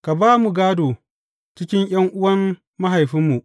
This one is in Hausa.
Ka ba mu gādo cikin ’yan’uwan mahaifinmu.